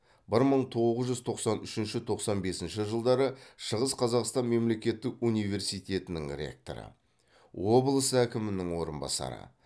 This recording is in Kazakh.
бір мың тоғыз жүз тоқсан үшінші тоқсан бесінші жылдары шығыс қазақстан мемлекеттік университетінің ректоры облыс әкімінің орынбасары